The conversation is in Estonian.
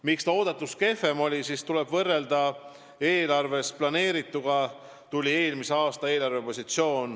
Miks seis eeldatust kehvem on?